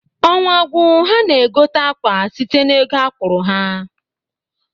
Ọnwa gwuo ha na-egote akwa site n'ego akwụrụ ha.